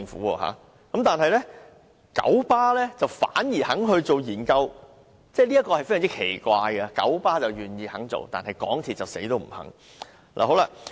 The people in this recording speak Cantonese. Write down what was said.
港鐵公司不肯做，但九巴反而肯進行研究，這點非常奇怪，九巴願意做，但港鐵公司卻堅決不肯。